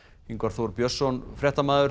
Ingvar Þór Björnsson fréttamaður